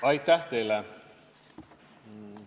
Aitäh teile!